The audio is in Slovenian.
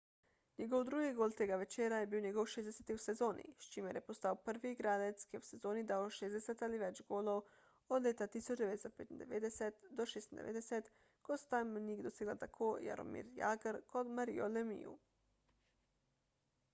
njegov drugi gol tega večera je bil njegov 60 v sezoni s čimer je postal prvi igralec ki je v sezoni dal 60 ali več golov od leta 1995–96 ko sta ta mejnik dosegla tako jaromir jagr kot mario lemieux